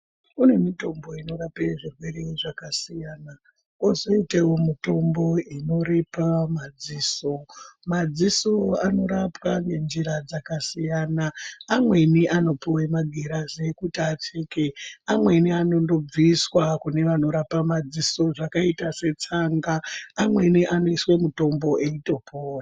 Kune mitombo inorape zvirwere zvakasiyana, kozoitewo mutombo inoripa madziso , maziso anorapwa ngenjira dzakasiyana amweni anopuwe magirazi ekuti apfeke amweni anondobviswa kune vanorapa madziso zvakaita setsanga , amweni anoiswe mutombo eitopora.